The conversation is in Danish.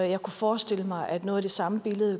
jeg kunne forestille mig at noget af det samme